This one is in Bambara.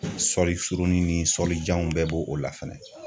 Sɔlisurunnin ni sɔlijanw bɛɛ bo o la fɛnɛ